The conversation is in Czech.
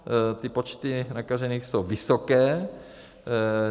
Ty počty nakažených jsou vysoké.